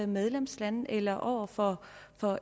medlemslande eller over for